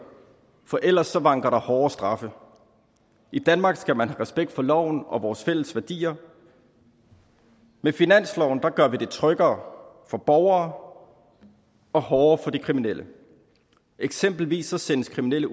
for ellers vanker der hårde straffe i danmark skal man have respekt for loven og vores fælles værdier med finansloven gør vi det tryggere for borgere og hårdere for de kriminelle eksempelvis sendes kriminelle